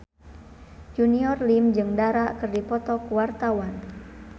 Junior Liem jeung Dara keur dipoto ku wartawan